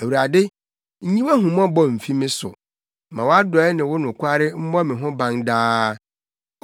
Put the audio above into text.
Awurade, nyi wʼahummɔbɔ mfi me so; ma wʼadɔe ne wo nokware mmɔ me ho ban daa.